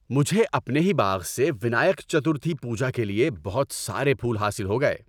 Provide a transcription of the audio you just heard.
مجھے اپنے ہی باغ سے ونائیک چترتھی پوجا کے لیے بہت سارے پھول حاصل ہو گئے۔